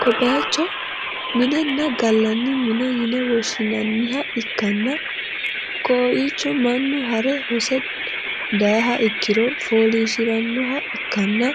ko bayicho minenna gallanni mine yine woshshinanniha ikkanna, koiicho mannu hare hose dayiha ikkiro fooliishhsi'rannoha ikkanna,